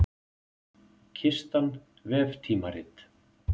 Kistan, veftímarit.